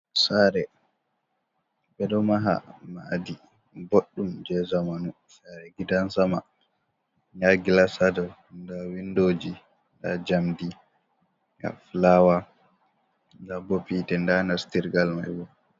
Saare, ɓe ɗo maha maadi boɗɗum jey zamanu, saare gidan sama ndaa gilas haa dow, ndaa winndooji, ndaa njamndi, ndaa filaawa, ndaa bo hiite, ndaa nastirgal may bo.